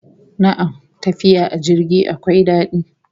Na'am, tafiya a jirgi akwai dadi